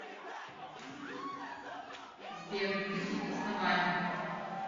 сбер на каких основаниях